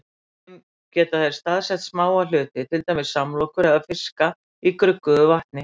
Með þeim geta þeir staðsett smáa hluti, til dæmis samlokur eða fiska, í gruggugu vatni.